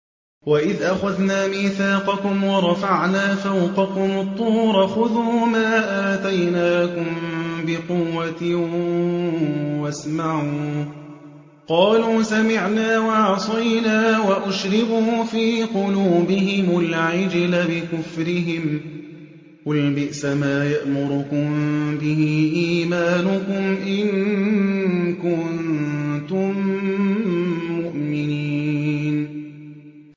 وَإِذْ أَخَذْنَا مِيثَاقَكُمْ وَرَفَعْنَا فَوْقَكُمُ الطُّورَ خُذُوا مَا آتَيْنَاكُم بِقُوَّةٍ وَاسْمَعُوا ۖ قَالُوا سَمِعْنَا وَعَصَيْنَا وَأُشْرِبُوا فِي قُلُوبِهِمُ الْعِجْلَ بِكُفْرِهِمْ ۚ قُلْ بِئْسَمَا يَأْمُرُكُم بِهِ إِيمَانُكُمْ إِن كُنتُم مُّؤْمِنِينَ